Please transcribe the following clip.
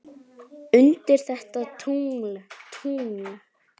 undir þetta tungl, tungl.